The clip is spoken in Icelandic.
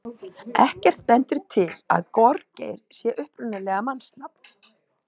Ekkert bendir til að gorgeir sé upprunalega mannsnafn.